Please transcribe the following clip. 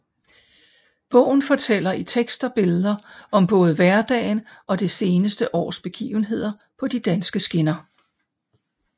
Bogen fortæller i tekst og billeder om både hverdagen og det seneste års begivenheder på de danske skinner